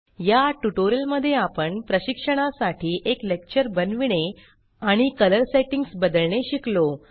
या ट्यूटोरियल मध्ये आपण प्रशिक्षणा साठी एक लेक्चर बनविणे आणि कलर सेटिंग्ज बदलणे शिकलो